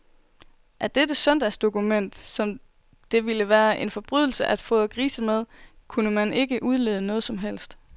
Af dette søndagsdokument, som det ville være en forbrydelse at fodre grise med, kunne man ikke udlede noget som helst.